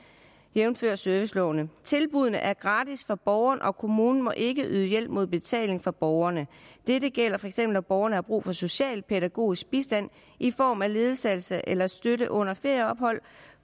jævnfør serviceloven tilbuddene er gratis for borgeren og kommunen må ikke yde hjælp mod betaling fra borgerne dette gælder feks når borgerne har brug for socialpædagogisk bistand i form af ledsagelse eller støtte under ferieophold